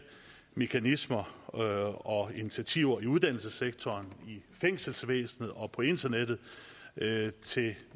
mekanismer og og initiativer i uddannelsessektoren i fængselsvæsenet og på internettet at yde til